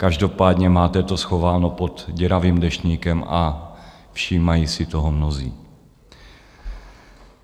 Každopádně máte to schováno pod děravým deštníkem a všímají si toho mnozí.